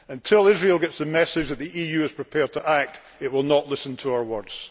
Until Israel gets the message that the EU is prepared to act it will not listen to our words.